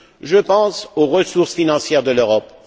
Je pense aux ressources financières de l'Europe.